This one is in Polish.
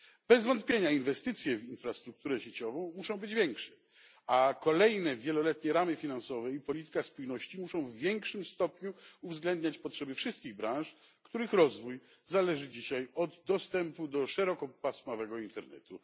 Bez wątpienia inwestycje w infrastrukturę sieciową muszą być większe, a kolejne wieloletnie ramy finansowe i polityka spójności muszą w większym stopniu uwzględniać potrzeby wszystkich branż, których rozwój zależy dzisiaj od dostępu do szerokopasmowego internetu.